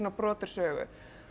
brot úr sögu